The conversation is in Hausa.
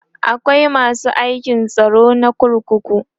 akwai masu aikin tsaro na kurkuku